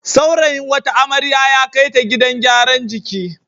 Saurayin wata amrya ya kai ta gidan gyaran jiki.